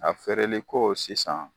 A feereliko sisan